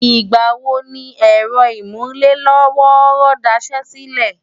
ìgbà wo ni ẹ̀rọ ìmúlé-lọ́wọ́ọ́rọ́ daṣẹ́ sílẹ̀?